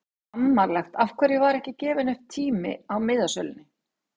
Skammarlegt Af hverju var ekki gefinn upp tími á miðasölunni?